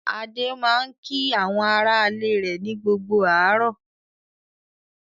Adé máa ń kí àwọn aráalé rẹ̀ ní gbogbo àárọ̀.